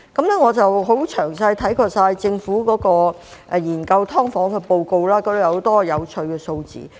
我詳細地看過政府研究"劏房"的報告，當中載有很多有趣的數字。